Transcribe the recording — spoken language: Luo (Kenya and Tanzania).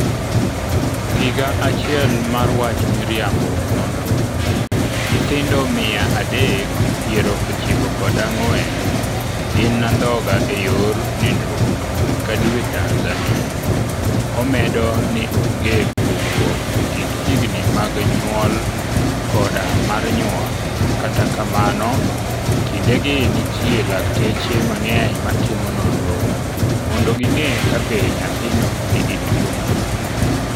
Higa Achiel mar Wach Miriambo Nonro: Nyithindo 394 inindhoga e yor nindruok dwe ka dwe Tanzania Omedo ni onge pogruok e kind higni mag nyuol koda mar nyuol Kata kamano, e kindegi nitie lakteche mang'eny matimo nonro mondo ging'e kabe nyathino nigi tuwono.